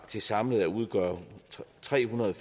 til samlet at udgøre trehundrede og